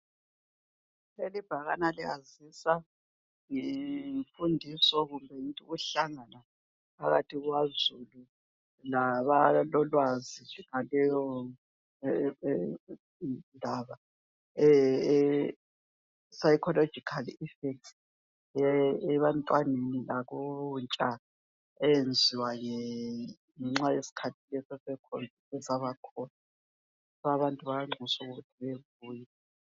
Lelibhakane liyazisa ngemfundiso kumbe ngithi ukuhlangana phakathi kukazulu, labalolwazi ngaleyondaba, eyePsychological effects. Ebantwaneni lakuntsha, eyenziwa ngenxa yesikhathi lesi eseCovid esabakhona. Ngakho abantu bayanxuswa ukuthi bebuye.